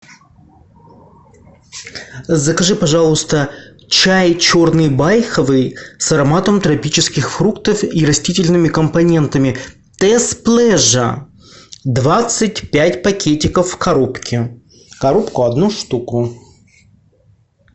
закажи пожалуйста чай черный байховый с ароматом тропических фруктов и растительными компонентами тесс плежа двадцать пять пакетиков в коробке коробку одну штуку